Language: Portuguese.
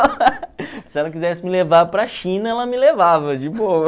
Se ela quisesse me levar para a China, ela me levava, de boa.